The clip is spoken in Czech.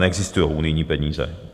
Neexistují unijní peníze.